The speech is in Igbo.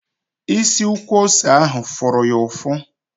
Isi ukwu ose ahụ fụrụ ya ụfụ